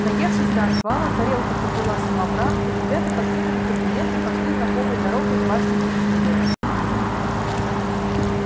наевшись до отвала тарелка-то была самобранка ребята покинули кабинет и пошли знакомой дорогой в башню гриффиндора